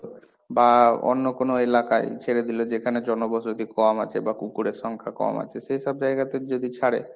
বা অন্য কোনো এলাকায় ছেড়ে দিলে যেখানে জনবসতি কম আছে বা কুকুরের সংখ্যা কম আছে, সেই সব জায়গাতে যদি ছাড়ে,